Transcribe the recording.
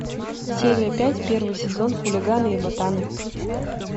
серия пять первый сезон хулиганы и ботаны